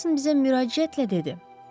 Mason bizə müraciətlə dedi.